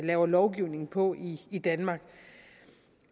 laver lovgivning på i i danmark